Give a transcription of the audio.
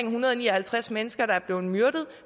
en hundrede og ni og halvtreds mennesker der er blevet myrdet